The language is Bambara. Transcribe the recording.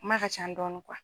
kuma ka ca dɔɔni